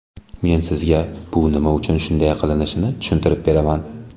Men sizga bu nima uchun shunday qilinishini tushuntirib beraman.